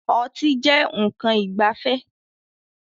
Ọtí jẹ nkan ìgbafẹ́